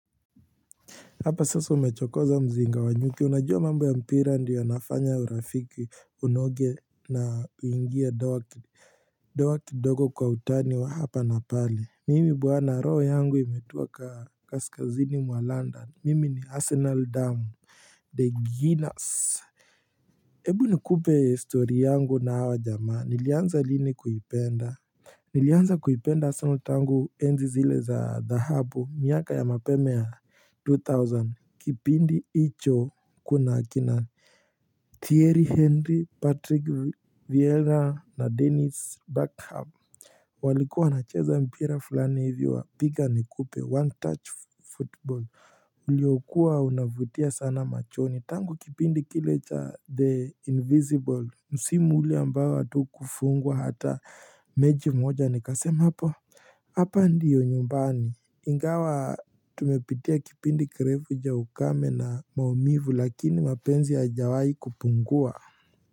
Hapa sasa umechokoza mzinga wa nyuki unajua mambo ya mpira ndiyo yanafanya ya urafiki unoge na uingie doa kidogo kwa utani wa hapa na pale Mimi bwana roho yangu imetuwa kaskazini mwa london mimi ni arsenal damu The Guinness Ebu ni kupe story yangu na hawa jamaa nilianza lini kuipenda Nilianza kuipenda arsenal tangu enzi zile za The Hub miaka ya mapema ya 2000 kipindi icho kuna akina Thierry Henry, Patrick Vieira na Dennis Buckham walikuwa wana cheza mpira fulani hivi wa piga nikupe one touch football Uliokuwa unavutia sana machoni tangu kipindi kile cha the invisible Msimu ule ambao atu kufungwa hata mechi moja nikasema hapo Hapa ndiyo nyumbani ingawa tumepitia kipindi kirefu cha ukame na maumivu lakini mapenzi haya jawai kupungua.